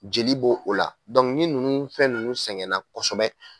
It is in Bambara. Jeli bo o la. ni nunnu fɛn nunnu sɛgɛnna kɔsɔbɛ